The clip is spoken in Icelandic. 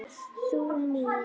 Þjóð mín!